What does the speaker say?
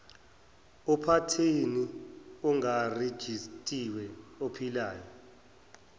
uphathini ongarejistiwe ophilayo